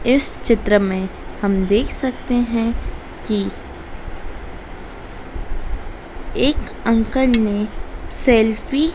इस चित्र में हम देख सकते है कि एक अंकल ने सेल्फी --